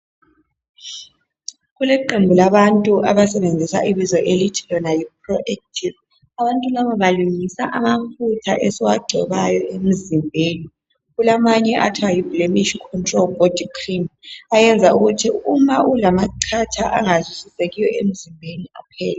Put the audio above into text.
Kuleqembu labantu abasebenzisa ibizo elithi Lona yi ProActive. Abantu laba balungisa amafutha esiwagcobayo. Kulamanye okuthiwa yiBlemish control body cream ayenza ukuthi nxa ulamachatha angazwisisekiyo emzimbeni aphele.